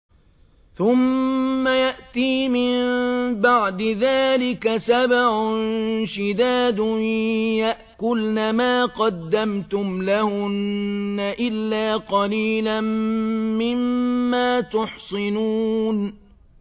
ثُمَّ يَأْتِي مِن بَعْدِ ذَٰلِكَ سَبْعٌ شِدَادٌ يَأْكُلْنَ مَا قَدَّمْتُمْ لَهُنَّ إِلَّا قَلِيلًا مِّمَّا تُحْصِنُونَ